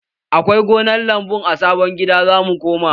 Akwai gonar lambu a sabon gidan da za mu koma